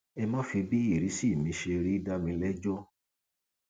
ẹ má fi bí ìrísí mi ṣe rí dá mi lẹjọ